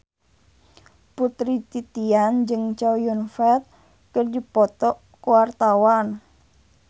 Putri Titian jeung Chow Yun Fat keur dipoto ku wartawan